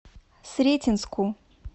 сретенску